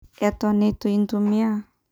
Eton itu intumia.